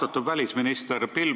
Austatud välisminister!